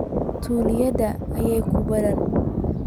Tuuladayada ayaa ku badan